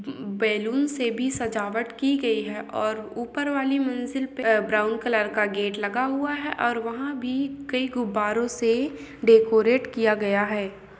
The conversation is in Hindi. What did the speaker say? बेलून से भी सजावट की गयी है और ऊपर वाली मंजिल पे ब्राउन कलर का गेट लगा हुआ है और वहाँ भी कई गुब्बारों से डेकोरेट किया गया हैं।